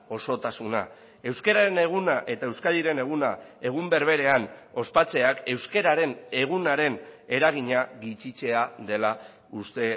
osotasuna euskararen eguna eta euskadiren eguna egun berberean ospatzeak euskararen egunaren eragina gutxitzea dela uste